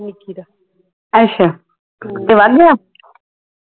ਅੱਛਾ, ਤੇ ਵਗ ਗਿਆ।